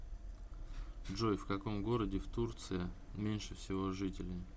джой в каком городе в турция меньше всего жителей